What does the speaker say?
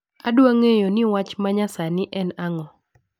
Adwaro ng'eyo ni wach ma nyasani en ang'o